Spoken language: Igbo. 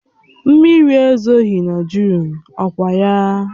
Mmiri ezoghị na Jụn, ọ kwa ya?